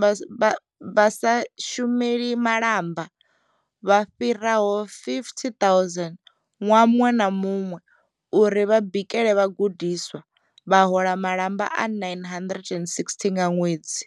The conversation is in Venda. vha vha vha sa shumeli malamba vha fhiraho 50 000 ṅwaha muṅwe na muṅwe uri vha bikele vhagudiswa, vha hola malamba a 960 nga ṅwedzi.